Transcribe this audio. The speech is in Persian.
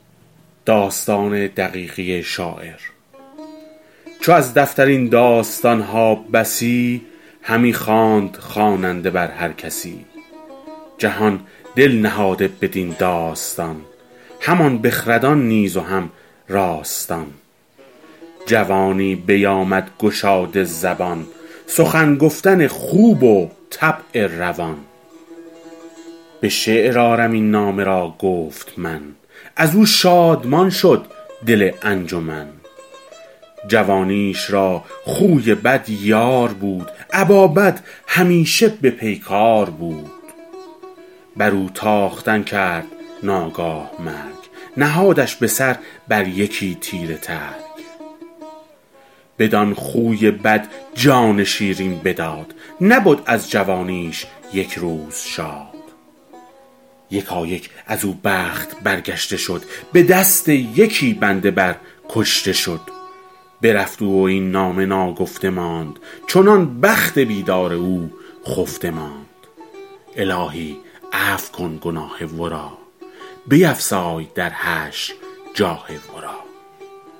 چو از دفتر این داستان ها بسی همی خواند خواننده بر هر کسی جهان دل نهاده بدین داستان همان بخردان نیز و هم راستان جوانی بیامد گشاده زبان سخن گفتن خوب و طبع روان به شعر آرم این نامه را گفت من از او شادمان شد دل انجمن جوانیش را خوی بد یار بود ابا بد همیشه به پیکار بود بر او تاختن کرد ناگاه مرگ نهادش به سر بر یکی تیره ترگ بدان خوی بد جان شیرین بداد نبد از جوانیش یک روز شاد یکایک از او بخت برگشته شد به دست یکی بنده بر کشته شد برفت او و این نامه ناگفته ماند چنان بخت بیدار او خفته ماند الهی عفو کن گناه ورا بیفزای در حشر جاه ورا